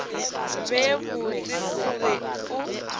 be botse o be o